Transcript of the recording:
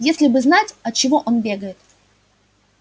если бы знать от чего он бегает